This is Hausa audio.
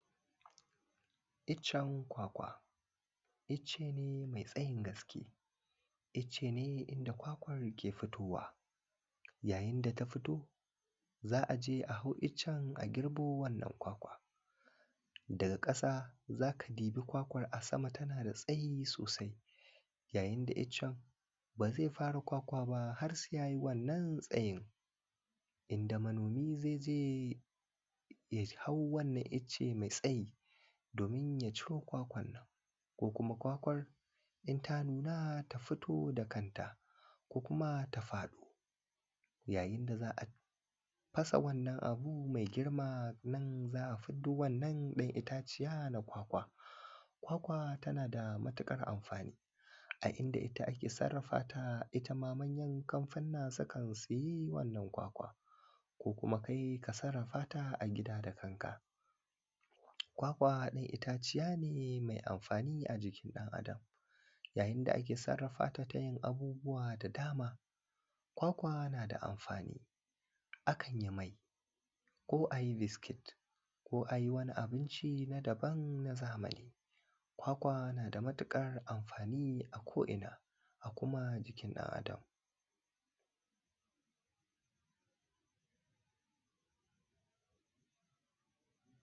iccen kwakwa icce ne mai tsayin gaske icce ne inda kwakwar ke fitowa yayin da ta fito za a je a hau iccen a girbo wannan kwakwa daga ƙasa za ka di bi kwakwar daga sama tana da tsayi sosai yayin da iccen ba zai fara kwakwa ba har sai ya yi wannan tsayin inda manomi zai je ya hau wannan icce mai tsayi domin ya ciro kwakwan nan ko kuma kwakwar in ta nuna ta fito da kanta ko kuma ta faɗo yayin da da za a fasa wannan abu mai girma nan za a fiddo wannan ɗan itaciya na kwakwa kwakwa tana da matuƙar amfani a inda ita ake sarrafa ta ita ma manyan kamfanunna sukan siye wannan kwakwar ko kuma kai ka sarrafa ta a gida da kanka kwakwa dai itaciya ce mai amfani a jikin ɗan adam yayin da ake sarrafa ta ta yin abubuwa da dama kwakwa na da amfani akan yi mai kuma a yi biskit ko a yi wani abinci na daban na zamani kwakwa na da matuƙar amfani a ko ina a kuma jikin ɗan adam